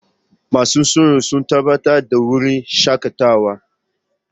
Masu tsaro sun tabbatar da wurin shakatawa.